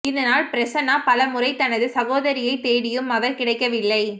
இதனால் பிரசன்னா பல முறை தனது சகோதரியைத் தேடியும் அவர் கிடைக்கவில்லை